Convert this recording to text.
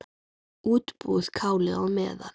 Útbúið kálið á meðan.